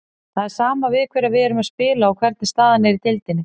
Það er sama við hverja við erum að spila og hvernig staðan er í deildinni.